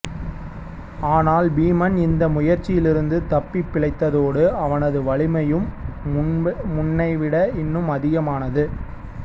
ஆனால் பீமன் இந்த முயற்சியிலிருந்து தப்பிப்பிழைத்ததோடு அவனது வலிமையும் முன்னை விட இன்னும் அதிகமானது